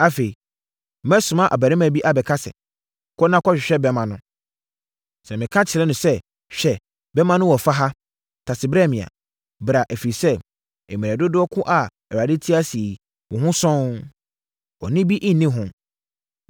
Afei, mɛsoma abarimaa bi aka sɛ, ‘Kɔ na kɔhwehwɛ bɛmma no.’ Sɛ meka kyerɛ no sɛ, ‘Hwɛ, bɛmma no wɔ fa ha; tase brɛ me a,’ bra, ɛfiri sɛ, mmerɛ dodoɔ ko a Awurade te ase yi, wo ho sɔnn; bɔne bi nni hɔ.